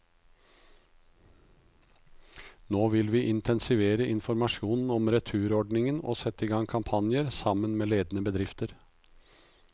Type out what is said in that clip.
Nå vil vi intensivere informasjonen om returordningen og sette i gang kampanjer, sammen med ledende bedrifter.